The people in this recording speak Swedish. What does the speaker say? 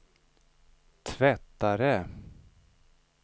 tvättare